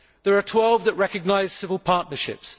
There are 12 that recognise civil partnerships.